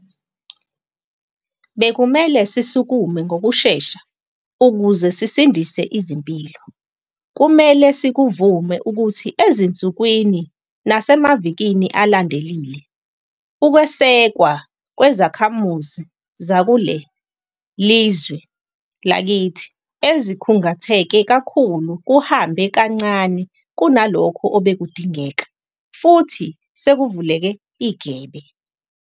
Bekumele sisukume ngokushesha ukuze sisindise izimpilo. Kumele sikuvume ukuthi ezinsukwini nasemavikini alandelile, ukwesekwa kwezakhamuzi zakule lizwe lakithi ezikhungatheke kakhulu kuhambe kancane kunalokho obekudingeka, futhi sekuvuleke igebe.